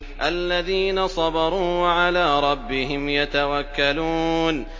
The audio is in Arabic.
الَّذِينَ صَبَرُوا وَعَلَىٰ رَبِّهِمْ يَتَوَكَّلُونَ